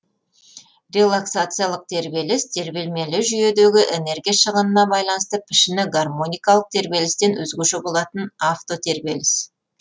релаксациялық тербеліс тербелмелі жүйедегі энергия шығынына байланысты пішіні гармоникалық тербелістен өзгеше болатын автотербеліс